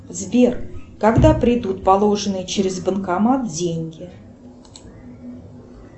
сбер когда придут положенные через банкомат деньги